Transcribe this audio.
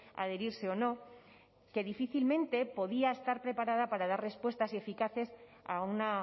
adherirse o no que difícilmente podía estar preparada para dar respuestas eficaces a una